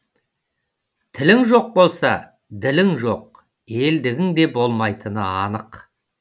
тілің жоқ болса ділің жоқ елдігің де болмайтыны анық